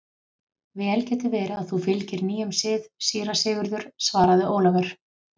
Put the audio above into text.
Vel getur verið að þú fylgir nýjum sið, síra Sigurður, svaraði Ólafur.